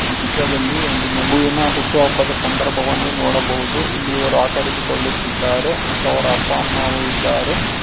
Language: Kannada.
ಈ ಚಿತ್ರದಲ್ಲಿ ಒಂದು ಮಗುವಿನ ಹುಟ್ಟು ಹಬ್ಬದ ಸಂದರ್ಭವನ್ನು ನೋಡಬಹುದು ಇಲ್ಲಿ ಇವರು ಆಚರಿಸಿಕೊಳ್ಳುತ್ತಿದ್ದಾರೆ ಮತ್ತು ಅವರ ಅಪ್ಪ ಅಮ್ಮವು ಇದ್ದಾರೆ.